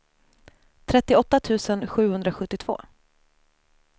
trettioåtta tusen sjuhundrasjuttiotvå